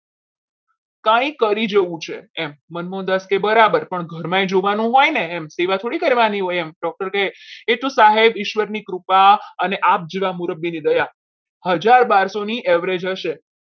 કંઈ કરી જેવું છે મનમોહનદાસ કહે બરાબર પણ ઘરમાં જોવાનું હોય ને સેવા થોડી કરવાની હોય doctor કહે એ તો સાહેબ ઈશ્વરની કૃપા અને આપ જેવા મુરબ્બીની દયા હજાર બારસો ની average હશે.